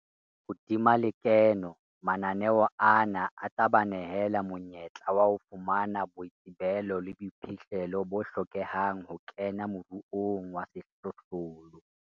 Hodima lekeno, mananeo ana a tla ba nehela monyetla wa ho fumana boitsebelo le boiphihlelo bo hlokehang ho kena moruong wa sehlohlolo.